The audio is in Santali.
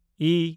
ᱤ